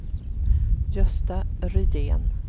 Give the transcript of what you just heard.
Gösta Rydén